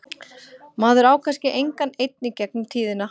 Maður á kannski engan einn í gegnum tíðina.